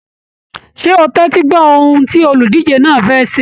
Ṣé o tẹtí gbọ ohùn tí oludije náà fẹ́ ṣé?